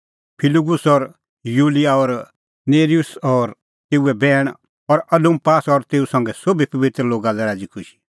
फिलुगुस और यूलिया और नेर्युस और तेऊए बैहण और उलुम्पास और तेऊ संघै सोभी पबित्र लोगा लै राज़ीखुशी